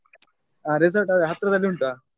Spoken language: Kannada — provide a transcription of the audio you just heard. ಹ resort ಅದೇ ಹತ್ರದಲ್ಲಿ ಉಂಟ.